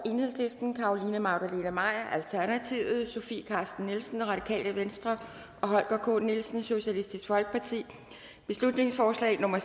carolina magdalene maier sofie carsten nielsen og holger k nielsen beslutningsforslag nummer